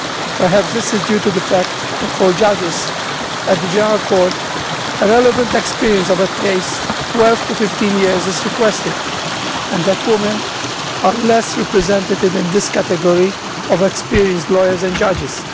Perhaps it is due to the fact that, for judges at the General Court, relevant experience of at least 12 to 15 years is requested, and that women are less represented in this category of experienced lawyers and judges.